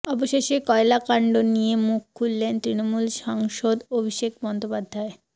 অবশেষে কয়লাকাণ্ড নিয়ে মুখ খুললেন তৃণমূল সাংসদ অভিষেক বন্দ্যোপাধ্যায়